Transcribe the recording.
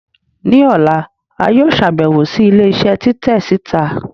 ni òlá, a yóò ṣabẹwo si ilé isé titẹ sita.